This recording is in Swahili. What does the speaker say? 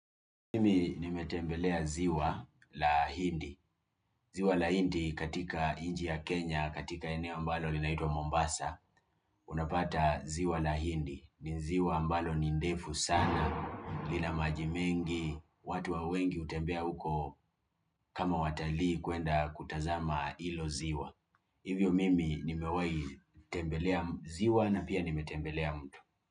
Mimi nimetembelea ziwa la hindi. Ziwa la hindi katika nchi ya Kenya, katika eneo ambalo linaitwa Mombasa, unapata ziwa la hindi. Ni ziwa ambalo ni ndefu sana, lina maji mengi, watu wa wengi hutembea huko kama watalii kwenda kutazama hilo ziwa. Hivyo mimi nimewahi tembelea ziwa na pia nimetembelea mtu.